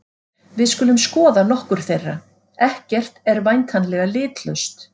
Við skulum skoða nokkur þeirra: Ekkert er væntanlega litlaust.